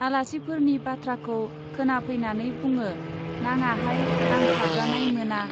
आलासिफोरनि बाथ्राखौ खोनाफैनानै बुङो, नाङाहाय आं साबजानाय मोना।